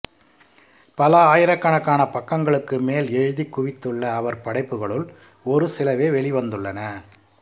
பல ஆயிரக்கணக்கான பக்கங்களுக்கு மேல் எழுதிக் குவித்துள்ள அவர் படைப்புகளுள் ஒரு சிலவே வெளிவந்துள்ளன